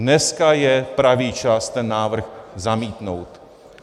Dneska je pravý čas ten návrh zamítnout.